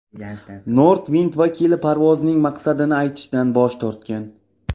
Nordwind vakili parvozning maqsadini aytishdan bosh tortgan.